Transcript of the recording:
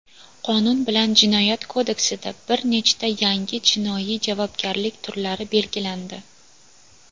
Qonun bilan Jinoyat kodeksida bir nechta yangi jinoiy javobgarlik turlari belgilandi.